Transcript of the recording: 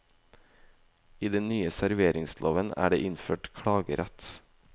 I den nye serveringsloven er det innført klagerett.